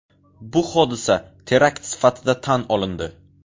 Bu hodisa terakt sifatida tan olindi.